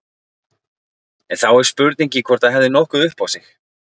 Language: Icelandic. En þá er spurningin hvort það hefði nokkuð upp á sig.